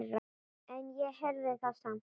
En ég heyrði það samt.